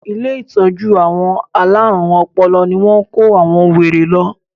Ilé ìtọ́jú àwọn alárùn ọpọlọ ní wọ́n kó àwọn wèrè lọ.